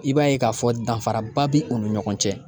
I b'a ye k'a fɔ danfaraba bɛ u ni ɲɔgɔn cɛ